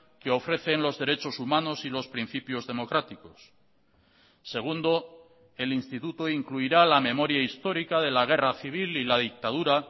que ofrecen los derechos humanos y los principios democráticos segundo el instituto incluirá la memoria histórica de la guerra civil y la dictadura